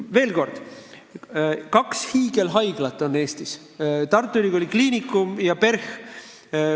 Veel kord, Eestis on kaks hiigelhaiglat: Tartu Ülikooli Kliinikum ja PERH.